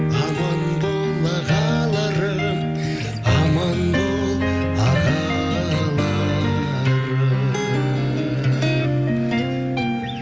аман бол ағаларым аман бол ағаларым